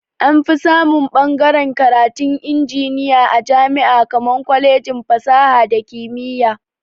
Anfi samun ɓagaren karatun injiniya a jama'i akan kwalejin fasaha da kimiya